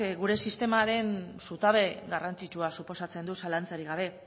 gure sistemaren zutabe garrantzitsua suposatzen du zalantzarik gabe